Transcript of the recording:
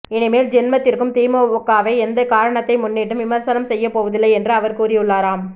இனிமேல் ஜென்மத்திற்கு திமுகவை எந்த காரணத்தை முன்னிட்டும் விமர்சனம் செய்யப்போவதில்லை என்றும் அவர் கூறியுள்ளாராம்